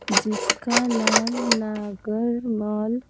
जिसका नाम नागरमल --